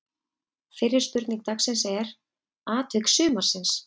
Fyrri spurning dagsins er: Atvik sumarsins?